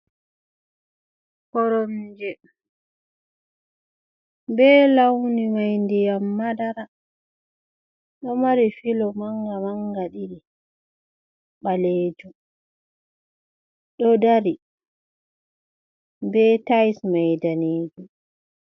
Koromje be launi mai ndiyam madara ɗo mari filo manga manga ɗiɗi ɓalejum ɗo dari be tails mai danejum.